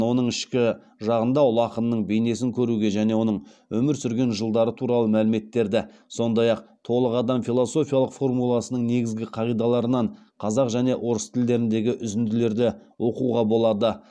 оның ішкі жағында ұлы ақынның бейнесін көруге және оның өмір сүрген жылдары туралы мәліметтерді сондай ақ толық адам философиялық формуласының негізгі қағидаларынан қазақ және орыс тілдеріндегі үзінділерді оқуға болады